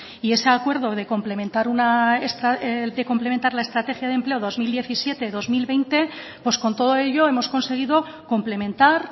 y ese acuerdo de complementar la estrategia de empleo dos mil diecisiete dos mil veinte pues con todo ello hemos conseguido complementar